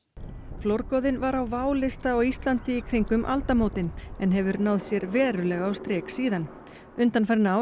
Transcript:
flórgoðinn var á válista á Íslandi í kringum aldamótin en hefur náð sér verulega á strik síðan undanfarin ár